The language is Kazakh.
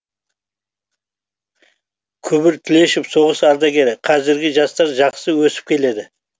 күбір тлешов соғыс ардагері қазіргі жастар жақсы өсіп келеді